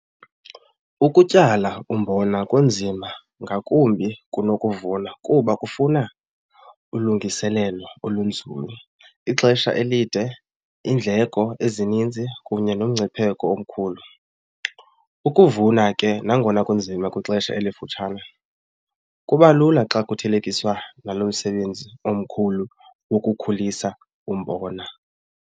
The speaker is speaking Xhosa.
Ukutyala umbona kunzima ngakumbi kunokuvuna kuba kufuna ulungiseelelo olunzulu, ixesha elide, iindleko ezininzi kunye nomngcipheko omkhulu. Ukuvuna ke nangona kunzima kwixesha elifutshane kuba lula xa kuthelekiswa nalomsebenzi omkhulu wokukhulisa umbona.